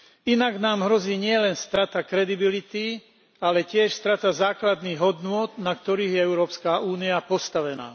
Inak nám hrozí nielen strata kredibility, ale tiež strata základných hodnôt, na ktorých je Európska únia postavená.